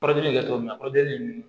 Kɔrɔjini bɛ kɛ cogo min na kɔrɔdigi ninnu